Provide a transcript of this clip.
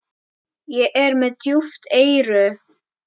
Ég er með djúp eyru.